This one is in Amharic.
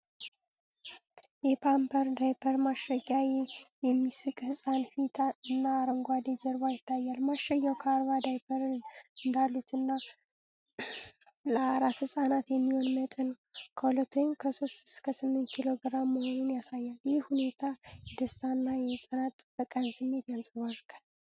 የፓምፐርስ ዳይፐር ማሸጊያ፣ የሚስቅ ሕፃን ፊት እና አረንጓዴ ጀርባ ይታያል። ማሸጊያው 40 ዳይፐሮች እንዳሉበትና ለአራስ ሕፃናት የሚሆን መጠን 2 (3-8 ኪሎግራም) መሆኑን ያሳያል። ይህ ሁኔታ የደስታና የሕፃናት ጥበቃን ስሜት ያንጸባርቃል።